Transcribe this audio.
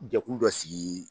Jɛkulu dɔ sigi